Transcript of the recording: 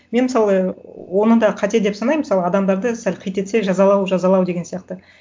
мен мысалы оны да қате деп санаймын мысалы адамдарды сәл қит етсе жазалау жазалау деген сияқты